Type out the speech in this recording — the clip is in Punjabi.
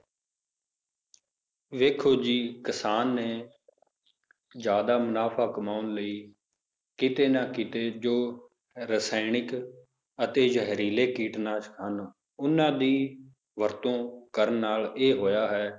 ਵੇਖੋ ਜੀ ਕਿਸਾਨ ਨੇ ਜ਼ਿਆਦਾ ਮੁਨਾਫ਼ਾ ਕਮਾਉਣ ਲਈ ਕਿਤੇ ਨਾ ਕਿਤੇ ਜੋ ਰਸਾਇਣਿਕ ਅਤੇ ਜ਼ਹਿਰੀਲੇ ਕੀਟਨਾਸ਼ਕ ਹਨ ਉਹਨਾਂ ਦੀ ਵਰਤੋਂ ਕਰਨ ਨਾਲ ਇਹ ਹੋਇਆ ਹੈ,